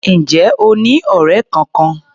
Ǹjẹ́ o ní ọ̀rẹ́ kọkan?